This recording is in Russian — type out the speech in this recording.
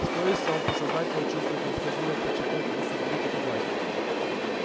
что если он подсознательно чувствует необходимость подчеркнуть и усугубить эту власть